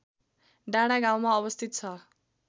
डाँडागाउँमा अवस्थित छ